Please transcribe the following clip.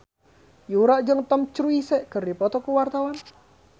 Yura jeung Tom Cruise keur dipoto ku wartawan